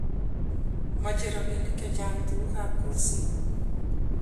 mechei robinik che chang tugukab kolset